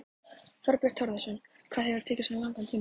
Þorbjörn Þórðarson: Hvað hefur tekið svona langan tíma?